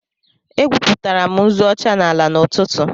Egwupụtara m nzu ọcha n'ala n'ụtụtụ